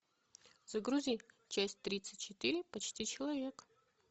загрузи часть тридцать четыре почти человек